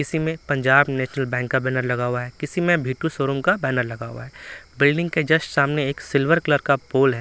किसी में Punjab national bank का बैनर लगा हुआ है किसी में भीटू शोरूम का बैनर लगा हुआ है बिल्डिंग के जस्ट सामने एक सिल्वर कलर का पोल है।